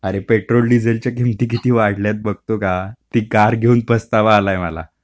अरे पेट्रोल डिझेलच्या किमती किती वाढल्या आहेत बघतो का ती कार घेऊन पस्तावा आलाय मला.